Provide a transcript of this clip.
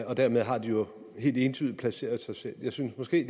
og dermed har de jo helt entydigt placeret sig selv jeg synes måske